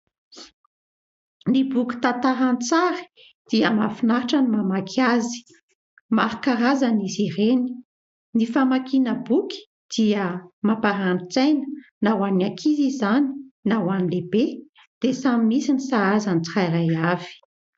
Ny boky tantaran-tsary dia mahafinaritra ny mamaky azy. Maro karazana izy ireny, ny famakiana boky dia mamparani-tsaina na ho an'ny ankizy izany na ho any lehibe dia samy misy ny sahaza ny tsirairay avy.